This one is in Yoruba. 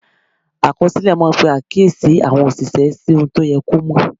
Àkọsílẹ̀ máa ń pe àkíyèsí àwọn òṣìṣẹ́ sí ohun tó yẹ kó mọ̀.